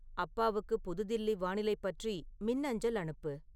அப்பாவுக்கு புது தில்லி வானிலை பற்றி மின்னஞ்சல் அனுப்பு